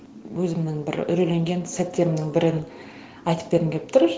өзімнің бір үрейленген сәттерімнің бірін айтып бергім келіп тұр